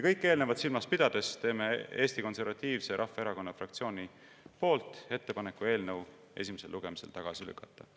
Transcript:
Kõike eelnevat silmas pidades teen Eesti Konservatiivse Rahvaerakonna fraktsiooni nimel ettepaneku eelnõu esimesel lugemisel tagasi lükata.